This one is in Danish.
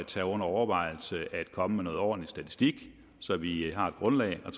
tage under overvejelse at komme med noget ordentlig statistik så vi har et grundlag at